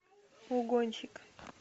угонщик